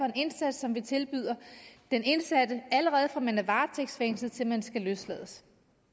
en indsats vi tilbyder den indsatte allerede fra man er varetægtsfængslet til man skal løslades